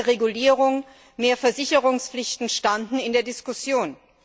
Mehr Regulierung, mehr Versicherungspflichten standen in der Diskussion.